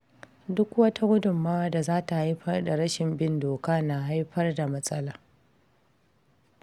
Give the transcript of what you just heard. Duk wata gudummawa da za ta haifar da rashin bin doka na haifar da matsala.